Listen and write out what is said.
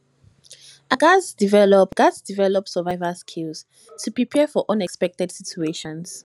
i gats develop gats develop survival skills to prepare for unexpected situations